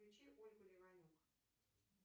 включи ольгу леванюк